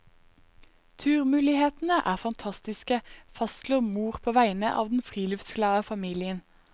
Turmulighetene er fantastiske, fastslår mor på vegne av den friluftsglade familien.